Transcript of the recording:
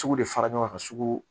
Cugu de fara ɲɔgɔn kan ka sugu